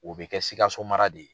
O bɛ kɛ Sikaso mara de ye.